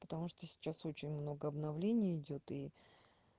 потому что сейчас очень много обновлений идёт и